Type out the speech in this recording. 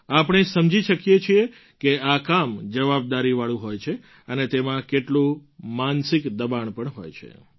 આપણે સમજી શકીએ છીએ કે આ કામ જવાબદારીવાળું હોય છે અને તેમાં કેટલું માનસિક દબાણ પણ હોય છે